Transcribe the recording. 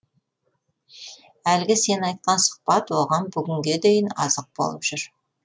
әлгі сен айтқан сұхбат оған бүгінге дейін азық болып жүр